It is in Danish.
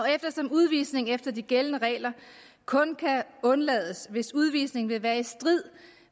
eftersom udvisning efter de gældende regler kun kan undlades hvis udvisning vil være i strid